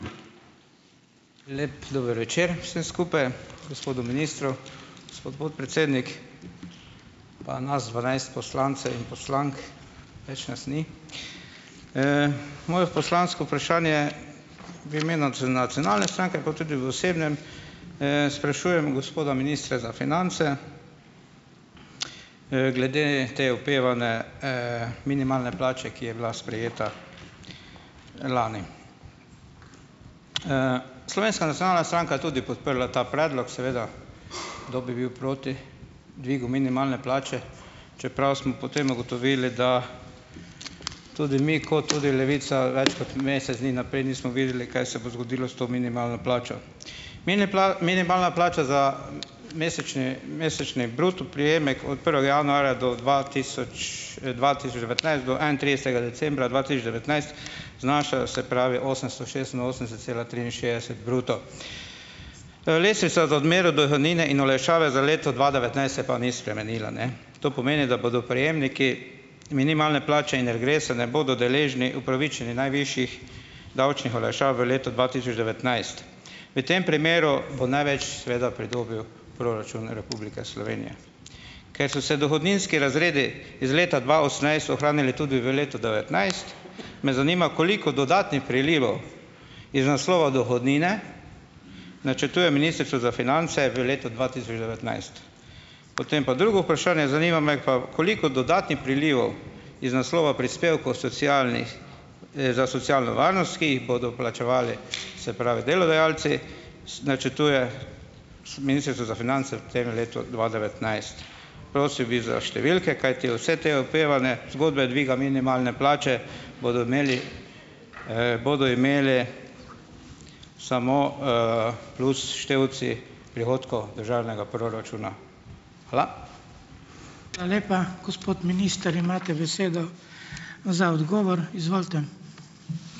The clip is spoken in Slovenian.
Lep dober večer vsem skupaj, gospodu ministru. Gospod podpredsednik, pa nas dvanajst poslancev in poslank, več nas ni. Moje poslansko vprašanje v imenu Nacionalne stranke pa tudi v osebnem, sprašujem gospoda ministra za finance, glede te opevane, minimalne plače, ki je bila sprejeta lani. Slovenska nacionalna stranka je tudi podprla ta predlog seveda, kdo bi bil proti dvigu minimalne plače, čeprav smo potem ugotovili, da tudi mi kot tudi Levica večkrat mesec dni naprej nismo videli, kaj se bo zgodilo s to minimalno plačo. Mini minimalna plača za mesečni mesečni bruto prejemek od prvega januarja do dva tisoč, dva tisoč devetnajst do enaintridesetega decembra dva tisoč devetnajst znaša, se pravi osemsto šestinosemdeset cela triinšestdeset bruto. Lestvica do odmeri od dohodnine in olajšave za leto dva devetnajst se pa ni spremenila, ne? To pomeni, da bodo prejemniki minimalne plače in regresa ne bodo deležni, upravičeni najvišjih davčnih olajšav v letu dva tisoč devetnajst. V tem primeru bo največ seveda pridobil proračun Republike Slovenije. Ker so se dohodninski razredi iz leta dva osemnajst ohranili tudi v letu devetnajst, me zanima: Koliko dodatnih prilivov iz naslova dohodnine načrtuje ministrstvo za finance v letu dva tisoč devetnajst? Potem pa drugo vprašanje; zanima me pa: Koliko dodatnih prilivov iz naslova prispevkov socialnih, za socialno varnost, ki jih bodo plačevali, se pravi, delodajalci s načrtuje s Ministrstvo za finance v tem letu dva devetnajst. Prosil bi za številke, kajti vse te opevane zgodbe dviga minimalne plače bodo imeli, bodo imeli samo, plus števci prihodkov državnega proračuna. Hvala.